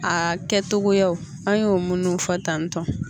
Aa kɛtogo an y'o munnu fɔ tantɔn